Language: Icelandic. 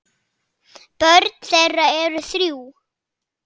Börn þeirra eru þrjú.